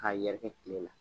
K'a yɛrɛkɛ kile la